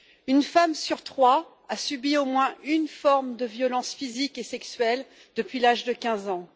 Une femme sur trois a subi au moins une forme de violence physique et sexuelle depuis l'âge de 15 ans.